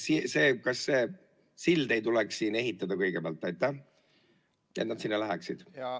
Kas ei tuleks siin ehitada kõigepealt see sild, et nad sinna läheksid?